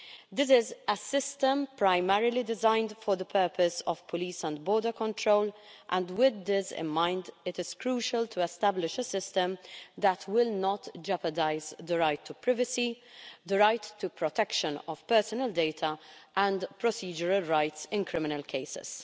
This is a system primarily designed for the purpose of police and border control, and with this in mind, it is crucial to establish a system that will not jeopardise the right to privacy, the right to the protection of personal data, and procedural rights in criminal cases.